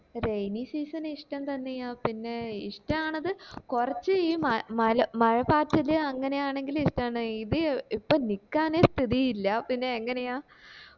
rainy season ഇഷ്ടം തന്നെയാ പിന്നെ ഇഷ്ടാണത് കൊറച്ച് ഈ മ മല മഴ പാറ്റല് അങ്ങനെയാണേങ്കില് ഇഷ്ടാണ് ഇത് ഇപ്പൊ നിക്കാനേ സ്ടിത്തി ഇല്ല